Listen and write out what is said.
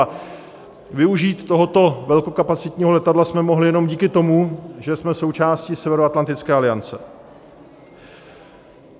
A využít tohoto velkokapacitního letadla jsme mohli jenom díky tomu, že jsme součástí Severoatlantické aliance.